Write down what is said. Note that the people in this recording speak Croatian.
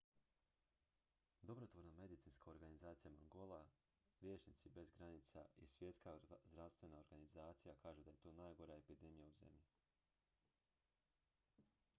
dobrotvorna medicinska organizacija mangola liječnici bez granica i svjetska zdravstvena organizacija kažu da je to najgora epidemija u zemlji